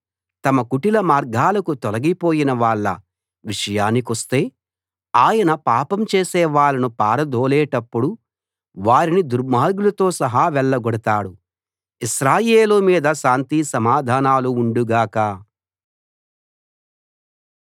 తమ కుటిల మార్గాలకు తొలగిపోయిన వాళ్ళ విషయానికొస్తే ఆయన పాపం చేసేవాళ్ళను పారదోలేటప్పుడు వారిని దుర్మార్గులతో సహా వెళ్ళగొడతాడు ఇశ్రాయేలు మీద శాంతి సమాధానాలు ఉండు గాక